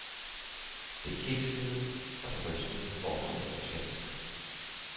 Det kiksede, og det rystede forbundet totalt.